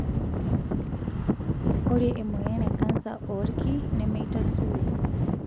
Ore emoyian e kansa oolki nemeitasuroi.